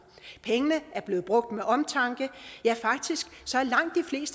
pengene er blevet brugt med omtanke ja faktisk